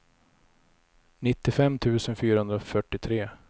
nittiofem tusen fyrahundrafyrtiotre